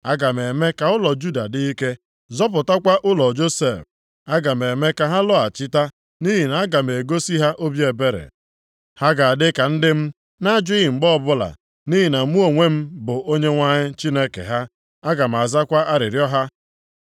“Aga m eme ka ụlọ Juda dị ike, zọpụtakwa ụlọ Josef. Aga m eme ka ha lọghachita, nʼihi na aga m egosi ha obi ebere. Ha ga-adị ka ndị m na-ajụghị mgbe ọbụla, nʼihi na mụ onwe m bụ Onyenwe anyị Chineke ha, aga m azakwa arịrịọ ha.